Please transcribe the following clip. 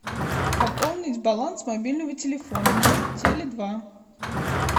пополнить баланс мобильного телефона мой теле два